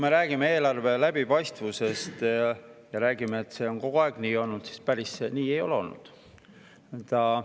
Kui räägitakse eelarve läbipaistvusest ja sellest, et see on kogu aeg nii olnud, siis päris nii see tegelikult ei ole.